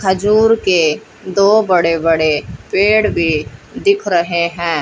खजूर के दो बड़े बड़े पेड़ भी दिख रहे हैं।